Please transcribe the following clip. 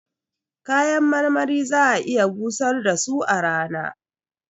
Kayan marmari za'a iya busar da su a rana